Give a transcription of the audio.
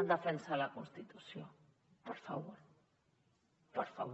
en defensa de la constitució per favor per favor